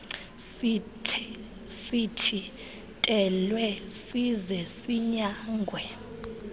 sithintelwe size sinyangwe